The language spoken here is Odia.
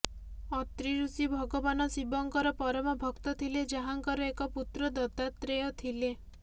ଅତ୍ରି ଋଷି ଭଗବାନ ଶିବଙ୍କର ପରମ ଭକ୍ତ ଥିଲେ ଯାହାଙ୍କର ଏକ ପୁତ୍ର ଦତ୍ତାତ୍ରେୟ ଥିଲେ